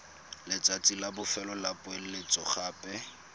letsatsi la bofelo la poeletsogape